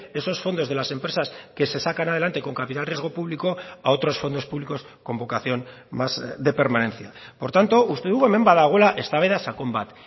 esos fondos de las empresas que se sacan adelante con capital riesgo público a otros fondos públicos con vocación más de permanencia por tanto uste dugu hemen badagoela eztabaida sakon bat